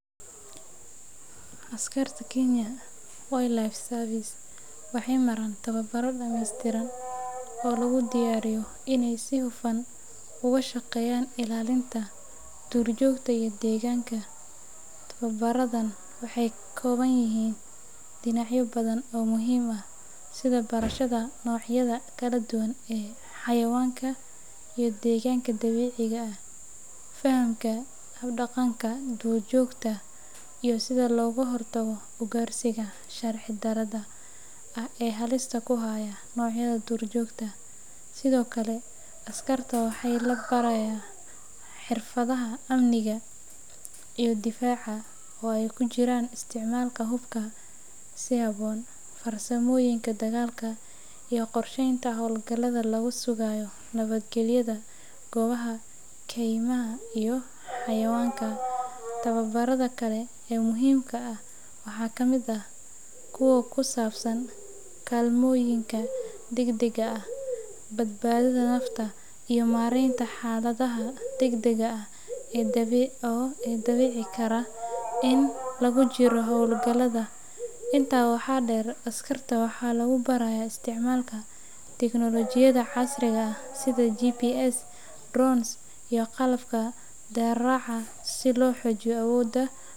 Askarta Kenya Wildlife Service waxay maraan tababaro dhammeystiran oo lagu diyaariyo inay si hufan uga shaqeeyaan ilaalinta duurjoogta iyo deegaanka. Tababaradan waxay ka kooban yihiin dhinacyo badan oo muhiim ah sida barashada noocyada kala duwan ee xayawaanka iyo deegaanka dabiiciga ah, fahamka habdhaqanka duurjoogta, iyo sida looga hortago ugaarsiga sharci darrada ah ee halista ku haya noocyada duurjoogta. Sidoo kale, askarta waxaa la barayaa xirfadaha amniga iyo difaaca, oo ay ku jiraan isticmaalka hubka si habboon, farsamooyinka dagaalka, iyo qorsheynta howlgallada lagu sugayo nabadgelyada goobaha keymaha iyo xayawaanka. Tababarada kale ee muhiimka ah waxaa ka mid ah kuwa ku saabsan kaalmooyinka degdegga ah, badbaadada nafta, iyo maaraynta xaaladaha degdegga ah ee dhici kara inta lagu jiro howlgallada. Intaa waxaa dheer, askarta waxaa lagu barayaa isticmaalka tiknoolajiyada casriga ah sida GPS, drones, iyo qalabka raadraaca si loo xoojiyo awoodda.